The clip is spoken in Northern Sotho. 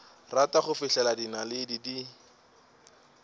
rata go fihlela dinaledi di